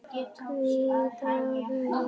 Hvítt og rautt.